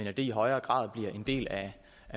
at det i højere grad bliver en del af